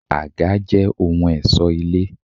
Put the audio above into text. Àga jẹ́ ohun ẹ̀ṣọ́ ilé.